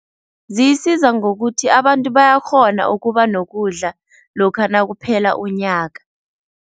Ziyisiza ngokuthi abantu bayakghona ukuba nokudla lokha nakuphela unyaka.